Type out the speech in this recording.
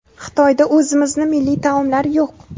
Xitoyda o‘zimizni milliy taomlar yo‘q.